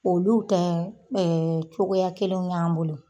Olu tɛ ɛ cogoya kelenw y'an bolo